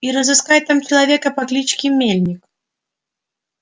и разыскать там человека по кличке мельник